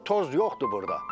Bu toz yoxdur burda.